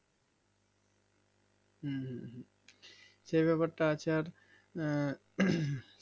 হুম হুম হুম সেই ব্যাপারটা আছে আর আঃ